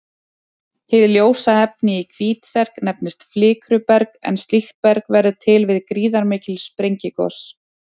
Hið ljósa efni í Hvítserk nefnist flikruberg en slíkt berg verður til við gríðarmikil sprengigos.